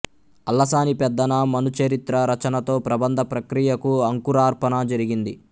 అల్లసాని పెద్దన మనుచరిత్ర రచనతో ప్రబంధ ప్రక్రియకు అంకురార్పణ జరిగింది